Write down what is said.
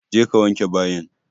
Je ka wanke bayin!